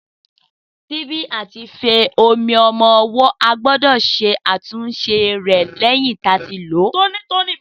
Síbí àti ife omi ọmọ owó a gbódò ṣatunṣe rè tóní tóní lẹyìn tí a tí lo